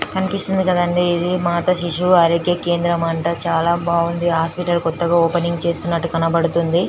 కనిపిస్తుంది కదా అంది ఇది మత శిశువు ఆరోగ్య కేంద్రం అంట చాల బాగుంది హాస్పిటల్ కోతగా ఓపెనింగ్ చేస్తున్నట్టు కనిపిస్తుంది